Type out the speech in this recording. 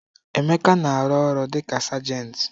Emeka na-arụ ọrụ dị ka sergent.